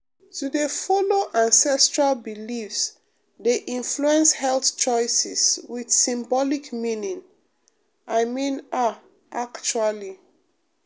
to dey follow ancestral beliefs dey influence health choices with symbolic meaning i mean ah actually.